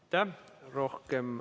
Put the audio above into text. Aitäh!